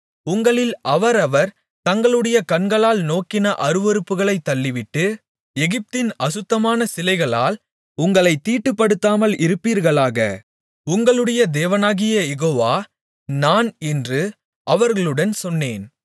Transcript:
உங்களில் அவரவர் தங்களுடைய கண்களால் நோக்கின அருவருப்புகளைத் தள்ளிவிட்டு எகிப்தின் அசுத்தமான சிலைகளால் உங்களைத் தீட்டுப்படுத்தாமல் இருப்பீர்களாக உங்களுடைய தேவனாகிய யெகோவா நான் என்று அவர்களுடன் சொன்னேன்